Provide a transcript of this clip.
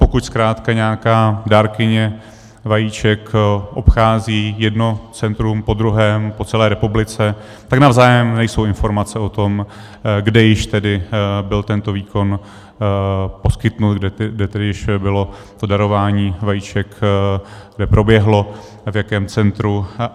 Pokud zkrátka nějaká dárkyně vajíček obchází jedno centrum po druhém po celé republice, tak navzájem nejsou informace o tom, kde již tedy byl tento výkon poskytnut, kde tedy již bylo to darování vajíček, kde proběhlo, v jakém centru.